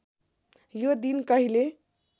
यो दिन कहिले